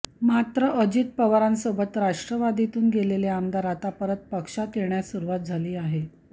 मात्र अजित पवारांसोबत राष्ट्रवादीतून गेलेले आमदार आता परत पक्षात येण्यास सुरुवात झाली आहे